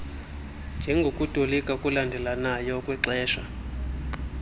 njengokutolika okulandelelanayo okwaxesha